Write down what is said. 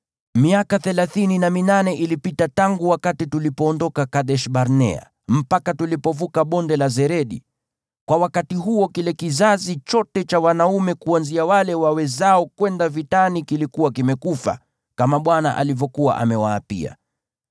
Miaka thelathini na minane ilipita tangu wakati tulipoondoka Kadesh-Barnea mpaka tulipovuka Bonde la Zeredi. Kwa wakati huo kile kizazi chote cha wanaume kuanzia wale wawezao kwenda vitani kilikuwa kimekufa, kama Bwana alivyokuwa amewaapia.